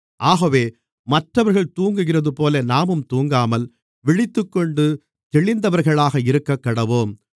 ஆகவே மற்றவர்கள் தூங்குகிறதுபோல நாமும் தூங்காமல் விழித்துக்கொண்டு தெளிந்தவர்களாக இருக்கக்கடவோம்